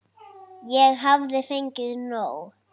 Ég hafði fengið nóg.